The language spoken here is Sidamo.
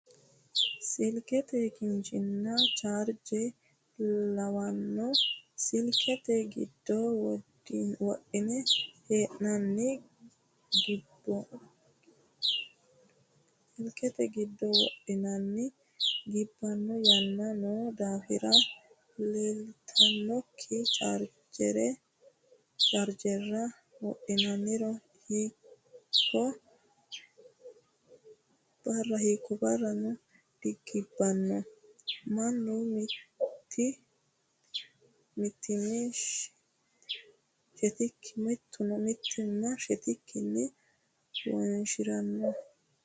Silikete kinchonna charge lawaanno. Silikete giddo wodhinne hee'neennanni gibbanno yaanna noo daaffora leelittannonke chargerera wodhinniro hiikko barranno digibbanno mannu mitti'mie shettikki wonshiraanno